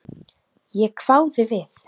Ég hváði við.